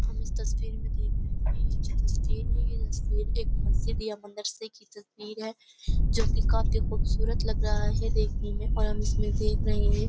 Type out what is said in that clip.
हम इस तस्वीर में देख रहे हैं जो तस्वीर ये तस्वीर एक मस्जिद या मदरसे की तस्वीर है जो कि काफी खूबसूरत लग रहा है देखने में और हम इसमें देख रहे हैं --